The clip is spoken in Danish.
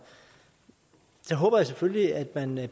håber jeg selvfølgelig at man i